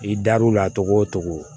I dar'u la cogo o cogo